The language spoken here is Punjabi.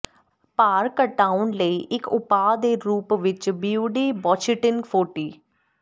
ਭਾਰ ਘਟਾਉਣ ਲਈ ਇੱਕ ਉਪਾਅ ਦੇ ਰੂਪ ਵਿੱਚ ਬਿਫਿਡੁਬਾੱਛੀਟਿਨ ਫੋਰਟੀ